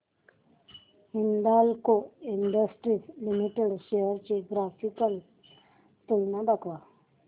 Hindalco industries limited shares ची graphical तुलना दाखव